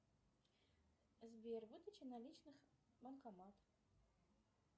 сбер выдача наличных банкомат